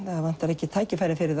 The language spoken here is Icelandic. það vantar ekki tækifæri fyrir